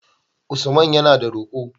Usaman yana da ruqo